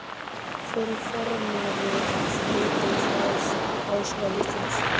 Hver er formaður Stúdentaráðs Háskóla Íslands?